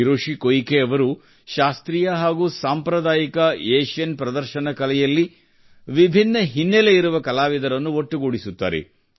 Hiroshi Koike ಅವರು ಶಾಸ್ತ್ರೀಯ ಹಾಗೂ ಸಾಂಪ್ರದಾಯಿಕ ಏಷ್ಯನ್ ಪ್ರದರ್ಶನ ಕಲೆಯಲ್ಲಿ ವಿಭಿನ್ನ ಹಿನ್ನೆಲೆ ಇರುವಂತಹ ಕಲಾವಿದರನ್ನು ಒಟ್ಟುಗೂಡಿಸುತ್ತಾರೆ